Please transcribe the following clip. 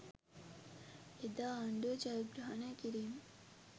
එදා ආණ්ඩුව ජයග්‍රහණය කිරීම